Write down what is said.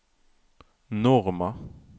Norma